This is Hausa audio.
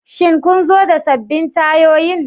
Shin kun zo da sabbin tayoyin?